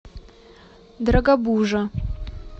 дорогобужа